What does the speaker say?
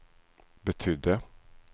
betydde